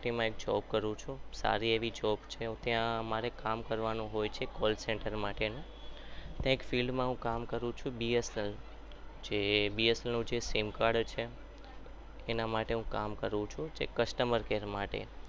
સારી એવી job છે અમારે ત્યાં કામ કરવાનું હોય છે call center માટેનું એક field માં હું કામ કરું છું bsnl જે bsnl નું sim card એના માટે હું કામ કરું છું customer care માટે